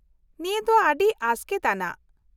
-ᱱᱤᱭᱟᱹ ᱫᱚ ᱟᱹᱰᱤ ᱟᱥᱠᱮᱛ ᱟᱱᱟᱜ!